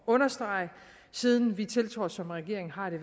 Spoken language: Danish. understrege siden vi tiltrådte som regering har det